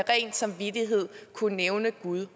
ren samvittighed kunne nævne gud